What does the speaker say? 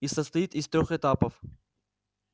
и состоит из трёх этапов